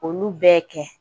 Olu bɛɛ kɛ.